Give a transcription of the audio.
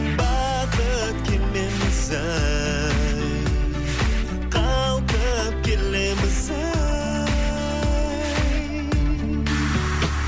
бақыт кемеміз ай қалқып келеміз ай